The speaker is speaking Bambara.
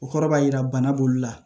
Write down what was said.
O kɔrɔ b'a jira bana b'olu la